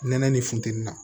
Nɛnɛ ni funteni na